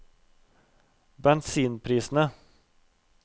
bensinprisene